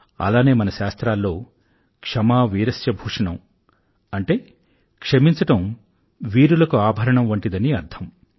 అలానే మన శాస్త్రాల్లో క్షమా వీరస్య భూషణమ్ అంటే క్షమించడం వీరులకు ఆభరణం వంటిదని అర్ధం